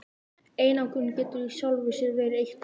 Einangrun getur í sjálfu sér verið eitt þeirra.